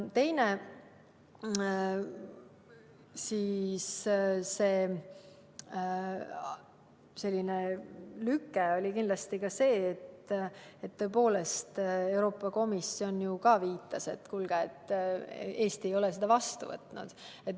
Teine lüke oli kindlasti see, et tõepoolest, Euroopa Komisjon viitas, et kuulge, Eesti ei ole seda vastu võtnud.